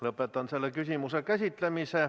Lõpetan selle küsimuse käsitlemise.